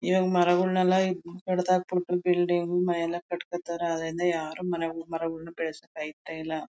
ಈವಾಗ್ ಮರಗಳನ್ನೆಲ್ಲ ಕಡಿದ್ ಹಾಕ್ಬಿಟ್ಟು ಬಿಲ್ಡಿಂಗ್ ಮನೆ ಎಲ್ಲಾಕಟ್ಕೋತಾರೆ ಅದ್ರಿಂದ ಯಾರು ಮರಗಳನ್ನ ಬೆಳಿಸೋಕೆ ಆಯ್ತಾ ಇಲ್ಲ.